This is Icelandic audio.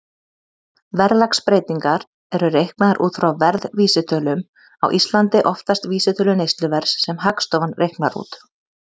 Verðlagsbreytingar eru reiknaðar út frá verðvísitölum, á Íslandi oftast vísitölu neysluverðs sem Hagstofan reiknar út.